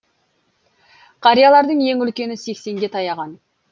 қариялардың ең үлкені сексенге таяған